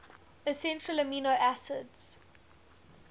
essential amino acids